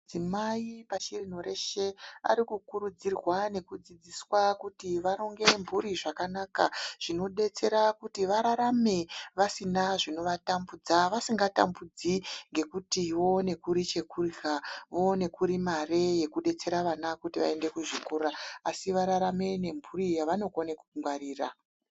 Madzimai pasi rino reshe arikufundiswa kuti akone kuronga mhuri zvakanaka zvinodetsera kuti vararame vasina zvino vatambudza vasingatambudziki ngekuti voone kuri chekurya, voone kuri mare yekudetsera mare yekuti vana vaende kuzvikora asi vararame nemburi yavanokona kungwarira.